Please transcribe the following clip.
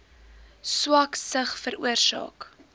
swak sig veroorsaak